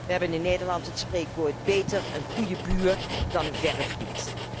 Wij hebben in Nederland het spreekwoord Beter een goede buur dan een verre vriend